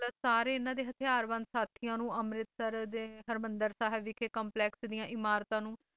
ਇਨ੍ਹਾਂ ਦੇ ਹਥਿਆਰ ਬੰਦ ਸਾਥੀਆਂ ਨੂੰ ਅਮ੍ਰਿਤਸਰ ਦੇ ਹਰਿਮੰਦਰ ਸਾਹਿਬ ਵਿਖੇ ਕੰਪਲੈਕਸ ਦੀਆਂ ਇਮਾਰਤਾਂ ਨੂੰ